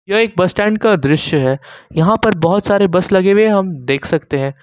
यह एक bus stand का दृश्य है यहां पर बहोत सारे बस लगे हुए हैं हम देख सकते हैं।